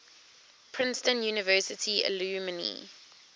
princeton university alumni